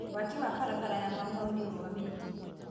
Waki wa barabara ya Mau Mau nĩ ũrũgamĩte.